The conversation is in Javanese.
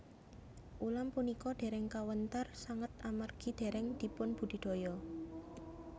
Ulam punika dèrèng kawéntar sanget amargi dèrèng dipunbudidaya